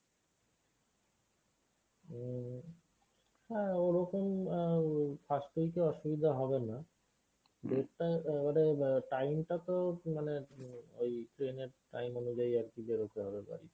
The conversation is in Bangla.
উম হ্যাঁ ওরকম আহ first week এ অসুবিধা হবে না date টা আহ ওটা আহ time টাতো মানে ঐ train এর time অনুযায়ী আরকি বেরুতে হবে বাড়ি থেকে।